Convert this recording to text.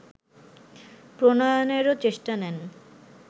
প্রণয়নেরও চেষ্টা নেন